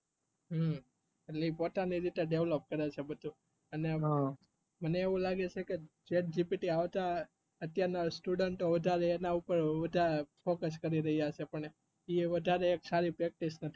એટલે પોતા ની રીતે develop કરે છે મને એવું લાગે છે chatgpt આવતા અતિયાર ના student વધારે એના પાર focues કરી રહિયા છે એ વધારે સારી practice